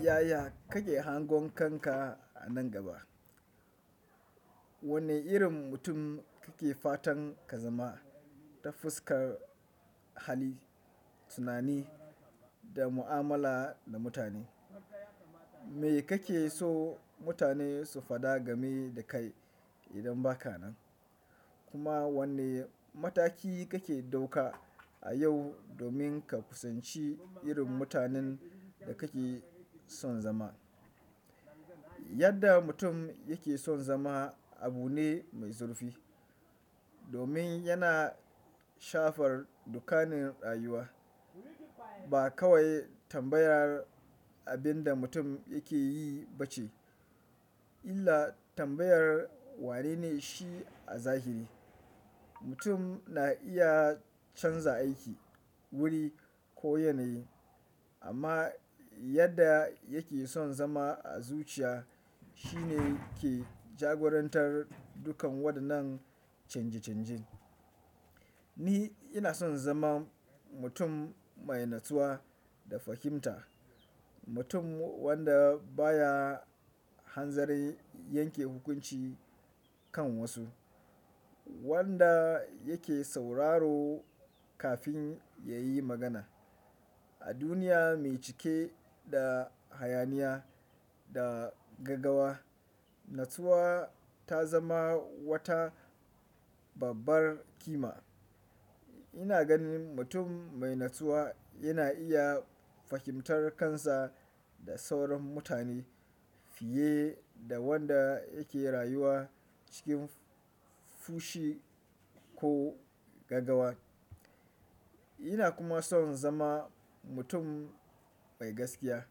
Yaya kake hangon kanka a nan gaba? Wane irin mutum kake fatan ka zama ta fuskar hali, tunani da mu'amala da mutane? Me kake so mutane su faɗa game da kai idan ba ka nan? Kuma wane mataki kake ɗauka a yau domin ka kusanci irin mutanen da kake son zama? Yadda mutum yake son zama abu ne mai zurfi domin yana shafar dukkanin rayuwa. Ba kawai tambayar abin da mutum yake yi ba ce, illa tambayar wane ne shi a zahiri. Mutum na iya canza aiki, wuri ko yanayi amma yadda yake son zama a zuciya shine ke jagorantar dukkan waɗannan canje-canje. Ni ina son zama mutum mai natsuwa da fahimta. Mutum wanda baya hanzarin yanke hukunci kan wasu, wanda yake sauraro kafin ya yi magana. A duniya mai cike da hayaniya da gagawa, natsuwa ta zama wata babbar kima. Ina ganin mutum mai natsuwa yana iya fahimtar kansa da sauran mutane fiye da wanda yake rayuwa cikin fushi ko gagawa. Ina kuma son zama mutum mai gaskiya.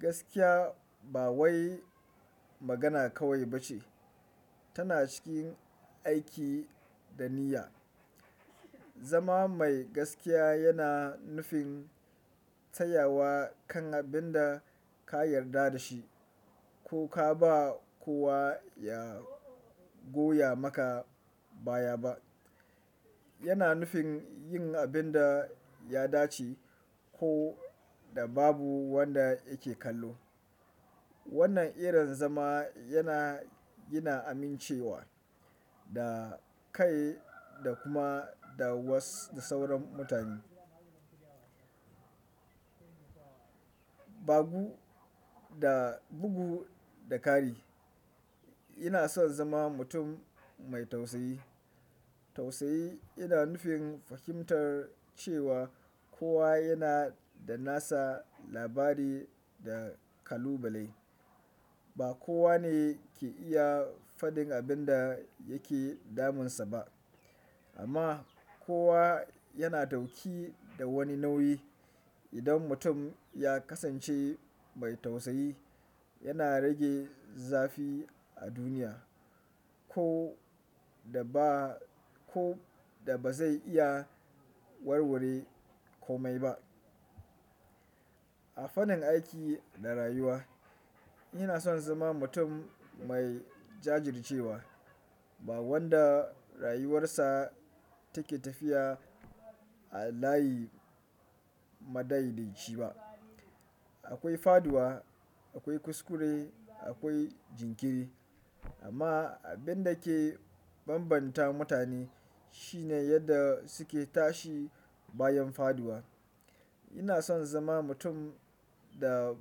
Gaskiya ba wai magana kawai ba ce, tana cikin aiki da niyya. Zama mai gaskiya yana nufin tsayawa kan abin da ka yarda da shi ko ka ba kowa ya goya maka baya ba. Yana nufin yin abin da ya dace ko da babu wanda yake kallo. Wannan irin zama yana gina amincewa da kai da kuma da was- da sauran mutane. Bagu da bugu da kari, ina son zama mutum mai tausayi. Tausayi yana nufin fahimtar cewa kowa yana da nasa labari da kalubale. Ba kowa ne ke iya fadin abin da yake damunsa ba amma kowa yana dauki da wani nauyi. Idan mutum ya kasance mai tausayi, yana rage zafi a duniya ko da ba, ko da ba zai iya warware komai ba. A fannin aiki da rayuwa, ina son zama mutum mai jajircewa, ba wanda rayuwarsa take tafiya a layi madaidaci ba. Akwai faɗuwa, akwai kuskure, akwai jinkiri amma abin da ke bambanta mutane shine yadda suke tashi bayan faɗuwa. Ina son zama mutum da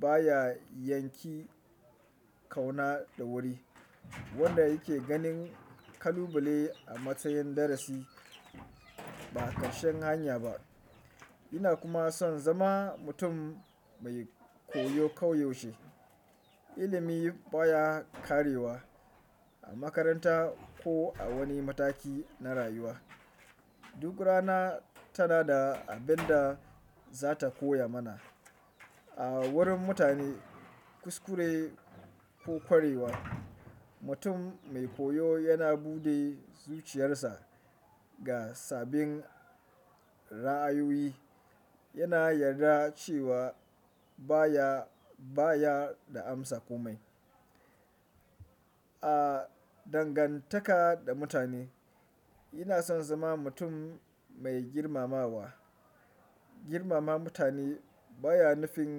baya yanki kauna da wuri, wanda yake ganin kalubale a matsayin darasi ba kashen hanya ba. Ina kuma son zama mutum mai koyo kauyuce. Ilimi baya ƙarewa a makaranta ko a wani mataki na rayuwa. Duk rana tana da abin da za ta koya mana. A wurin mutane, kuskure ko ƙwarewa, mutum mai koyo yana buɗe zuciyarsa ga sabbin ra'ayoyi. Yana yarda cewa baya, baya da amsa komai. A dangantaka da mutane, ina son zama mutum mai girmamawa. Girmama mutane baya nufin.